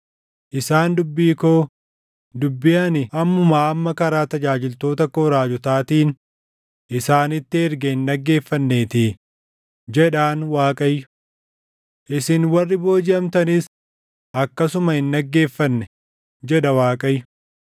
Isaan dubbii koo, dubbii ani ammumaa amma karaa tajaajiltoota koo raajotaatiin isaanitti erge hin dhaggeeffanneetii” jedhan Waaqayyo. “Isin warri boojiʼamtanis akkasuma hin dhaggeeffanne” jedha Waaqayyo.